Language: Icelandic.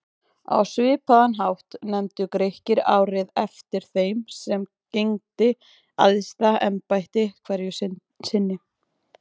Á svipaðan hátt nefndu Grikkir árið eftir þeim sem gegndi æðsta embætti hverju sinni.